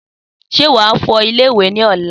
Sé wàá fọ ilé ìwè ní ọ̀la?